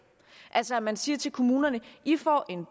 altså at man siger til kommunerne i får en